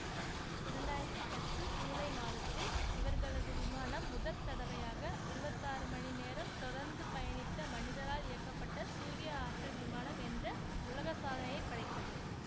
இரண்டு ஆயிரத்தி பத்து சூலை மாதத்தில் இவர்களது விமானம் முதற்தடவையாக இருபத்தி ஆறு மணி நேரம் தொடர்ந்து பயணித்த மனிதரால் இயக்கப்பட்ட சூரிய ஆற்றல் விமானம் என்ற உலக சாதனையை படைத்தது